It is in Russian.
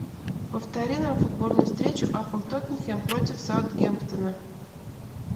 повтори нам футбольную встречу апл тоттенхэм против саутгемптона